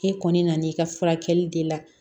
E kɔni nan'i ka furakɛli de la